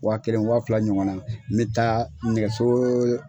Waa kelen waa fila ɲɔgɔn na, n bɛ taa nɛgɛso